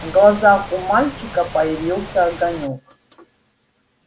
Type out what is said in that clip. в глазах у мальчика появился огонёк